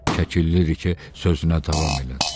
Kəkilli rike sözünə davam elədi.